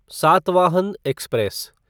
Satavahana express